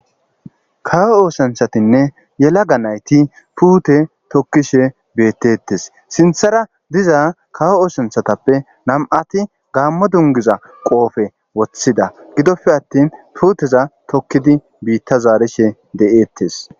kawo oosanchatinne yelaga nayti puute tokkishe bettettes sinthara diza kawo oosanthatappe nam'ati gaammo dungiza qoofe woththida gidoppe attin puuteza tokkidi biitta zaarishe de'ettes